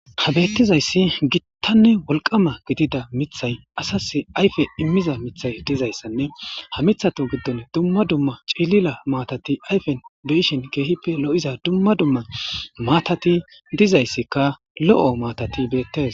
ha beettizayssi gittanne wolqama gidida mithay asas ayfe immiza mithay dizayssanne ha mithato giddon dumma dumma cilila maatati ayfen do7ishin keehippe lo7iza dumma dumma maatati dizayssikka lo7o maatati beettes